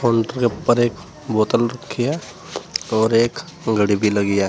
उनके ऊपर एक बोतल रखी है और एक घड़ी भी लगी है।